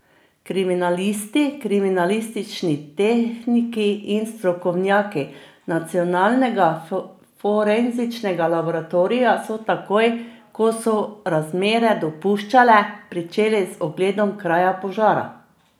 Kriminalisti, kriminalistični tehniki in strokovnjaki Nacionalnega forenzičnega laboratorija so takoj, ko so razmere dopuščale, pričeli z ogledom kraja požara.